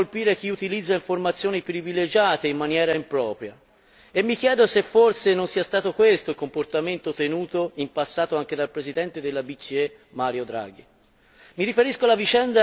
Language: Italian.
In questa relazione si parla di colpire chi utilizza informazioni privilegiate in maniera impropria e mi chiedo se forse non sia stato questo il comportamento tenuto in passato anche dal Presidente della BCE Mario Draghi.